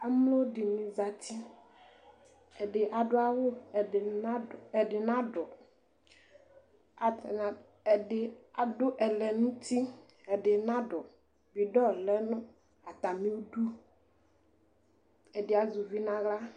Amlodini zati ɛdini adu awu ɛdinadu ɛdɩ adu ɛlɛ nu uti edɩnadu bidɔ lɛ nʊ atamidʊ ɛdi azɛ uvɩ nu aɣla